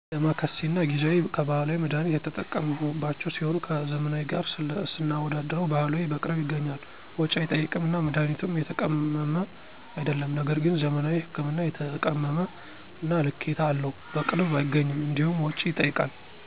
ደማከሴ እና ጊዜዋ ከባህላዊ መድሀኒት የተጠቀምሁባቸው ሲሆኑ ከዘመናዊ ጋር ስናወዳድረው ባህላዊ በቅርብ ይገኛል፣ ወጭ አይጠይቅም እና መድሀኒቱም የተቀመመ አይደለም ነገር ግን ዘመናዊ ህክምና የተቀመመ እና ልኬታ አለው፣ በቅርብ አይገኝም እንዲሁም ወጭ ይጠይቃል።